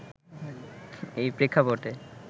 এই প্রেক্ষাপটে